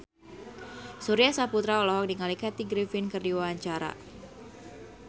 Surya Saputra olohok ningali Kathy Griffin keur diwawancara